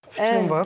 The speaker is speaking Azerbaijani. Qüçün var.